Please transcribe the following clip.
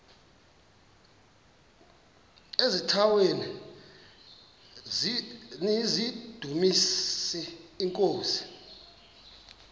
eziaweni nizidumis iinkosi